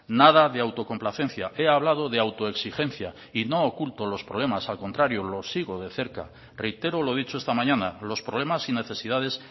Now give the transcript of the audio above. nada de autocomplacencia he hablado de autoexigencia y no oculto los problemas al contrario los sigo de cerca reitero lo dicho esta mañana los problemas y necesidades